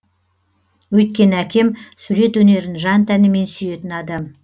өйткені әкем сурет өнерін жан тәнімен сүйетін адам